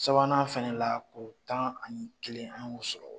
Sabanan fana la ko tan ani kelen an y'o sɔrɔ